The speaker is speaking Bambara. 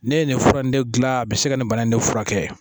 Ne ye nin fura in ne dilan a bɛ se ka nin bana in de furakɛ